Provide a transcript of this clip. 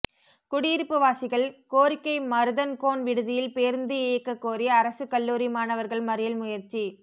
குடியிருப்பு வாசிகள் கோரிக்கை மருதன்கோன் விடுதியில் பேருந்து இயக்க கோரி அரசு கல்லூரி மாணவர்கள் மறியல் முயற்சி